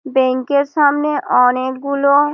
bank এর সামনে অনেক গুলো --